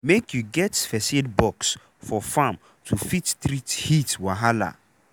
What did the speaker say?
make u get first aid box for farm to fit treat heat wahala.